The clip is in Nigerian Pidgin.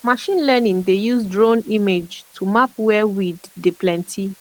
machine learning dey use drone image to map where weed dey plenty